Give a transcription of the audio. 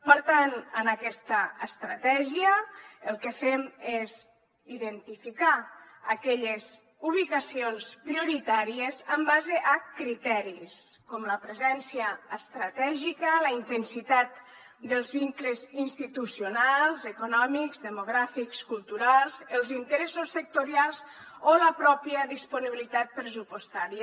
per tant en aquesta estratègia el que fem és identificar aquelles ubicacions prioritàries en base a criteris com la presència estratègica la intensitat dels vincles institucionals econòmics demogràfics culturals els interessos sectorials o la pròpia disponibilitat pressupostària